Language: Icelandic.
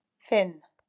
Finn